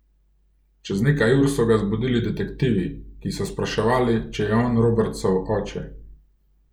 Čez nekaj ur so ga zbudili detektivi, ki so spraševali, če je on Robertsov oče.